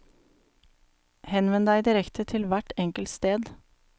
Henvend deg direkte til hvert enkelt sted.